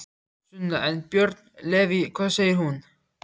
Sunna: En, Björn Leví, hvað segir þú?